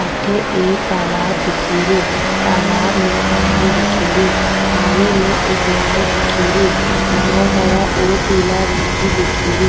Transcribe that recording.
अठे एक तालाब दिखरयो तालाब में पानी दिखरयो पानी में एक नाव दिखेरी नाव हरा और पीला रंग की दिखेरी।